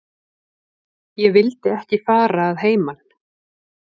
Ég vildi ekki fara að heiman.